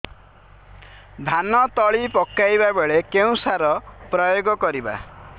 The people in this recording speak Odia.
ଧାନ ତଳି ପକାଇବା ବେଳେ କେଉଁ ସାର ପ୍ରୟୋଗ କରିବା